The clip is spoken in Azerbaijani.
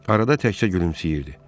Arada təkcə gülümsəyirdi.